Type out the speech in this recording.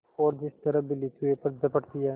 और जिस तरह बिल्ली चूहे पर झपटती है